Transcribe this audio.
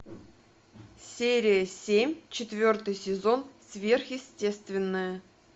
серия семь четвертый сезон сверхъестественное